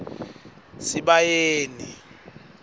sibayeni